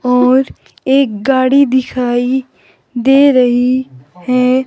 और एक गाड़ी दिखाई दे रही हैं।